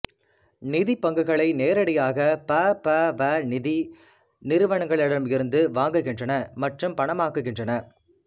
நிதி பங்குகளை நேரடியாக ப ப வ நிதி நிறுவனங்களிடமிருந்து வாங்குகின்றன மற்றும் பணமாக்குகின்றன